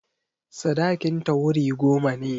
Sadakinta wuri goma ne.